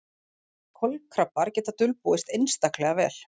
Kolkrabbar geta dulbúist einstaklega vel.